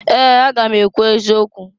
Ee! Aga m ekwu eziokwu.